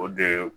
O de ye